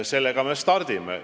Sellega me stardime.